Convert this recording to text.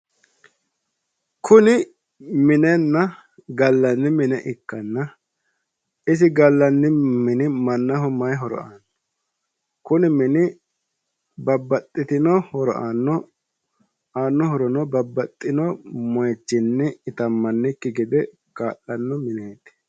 Kuni minenna gallanni mine ikkanna isi gallanni mini mannaho may horo aano? Kuni mini babbaxxitino horo aano aano horono babbaxxitino moichinni itammannikki gede kaa'lanno mineeti.